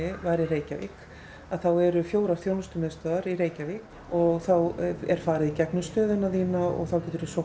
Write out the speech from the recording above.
eru fjórir þjónustumiðstöðvar í Reykjavík og þá er farið í gegnum stöðuna þína og þá getur þú sótt um húsnæði eða